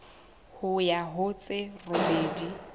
ho ya ho tse robedi